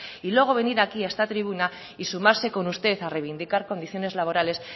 y luego venir aquí a esta tribuna y sumarse con usted a reivindicar condiciones laborales